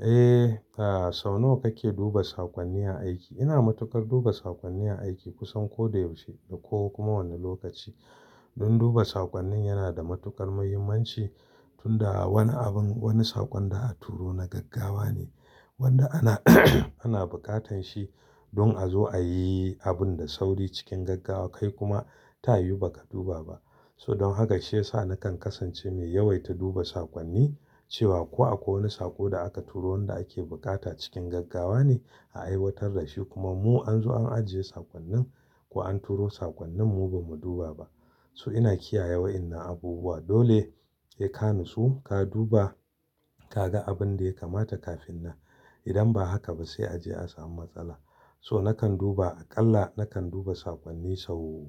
Eh, sau nawa kake duba sakonni a aiki? Ina matukar duba sakonni a aiki kusan ko da yaushe ko kuma wani lokaci. Don duba sakonni yana da matukar muhimmanci, tunda wani abin, wani sakon da a turo na gaggawa ne wanda ana ana bukatan shi don a zo ayi abun da sauri cikin gaggawa kai kuma ta yiwu ba ka duba ba. So don haka shi yasa nakan kasance mai yawaita duba sakonni, cewa ko akwai wani sako da aka turo wanda ake bukata cikin gaggawa ne a aiwatar da shi kuma mu an zo an ajiye sakonni ko an turo sakonni mu bamu duba ba. To ina kiyaye wa'inna abubuwa. Dole sai ka nutsu, ka duba, ka ga abin da ya kamata kafin nan. Idan ba haka ba sai a je a samu matsala. To nakan duba a ƙalla nakan duba sakonni sau,